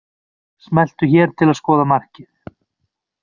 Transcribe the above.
Smelltu hér til að skoða markið